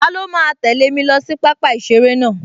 Taló máa tẹ̀lẹ́ mi lọ sí pápá-ìseré náà?